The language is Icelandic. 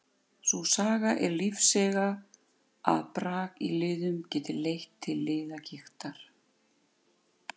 Sú saga er lífseiga að brak í liðum geti leitt til liðagigtar.